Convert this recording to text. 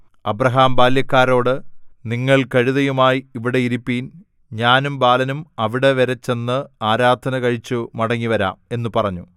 Abraham ബാല്യക്കാരോട് നിങ്ങൾ കഴുതയുമായി ഇവിടെ ഇരിപ്പിൻ ഞാനും ബാലനും അവിടെവരെ ചെന്ന് ആരാധന കഴിച്ചു മടങ്ങിവരാം എന്നു പറഞ്ഞു